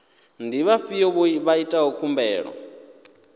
ndi vhafhio vha itaho khumbelo